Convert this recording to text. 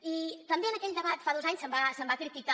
i també en aquell debat fa dos anys se’m va criticar